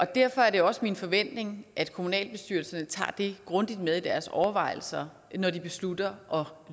derfor er det også min forventning at kommunalbestyrelserne tager det grundigt med i deres overvejelser når de beslutter